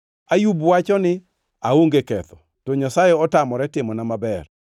“Ayub wacho ni, ‘Aonge ketho, to Nyasaye otamore timona maber.